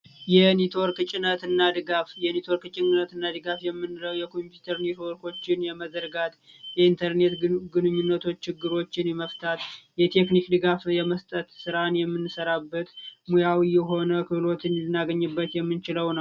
የኔትወርክ ጭነት እና ድጋፍ የኔትወርክ ጭነት እና ድጋፍ የምንለው የኮምፒውተር ኔትወርኮችን የመዘርጋት የኢንተርኔት ግንኙነት ችግሮችን የመፍታት የቴክኒክ ድጋፍ የመስጠት ስራን የምንሰራበት መያዊ የሆነ ክህሎት ልናገኝበት የምንችለው ነው።